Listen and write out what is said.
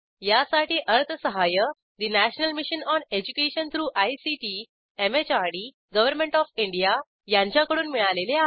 यासाठी अर्थसहाय्य national mission on education through ICT MHRD government of India यांच्याकडून मिळालेले आहे